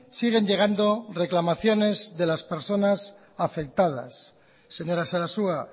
siguen llegando reclamaciones de las personas afectadas señora sarasua